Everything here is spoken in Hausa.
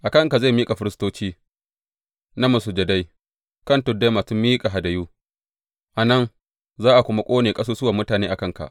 A kanka zai miƙa firistoci na masujadai kan tuddai masu miƙa hadayu a nan, za a kuma ƙone ƙasusuwan mutane a kanka.’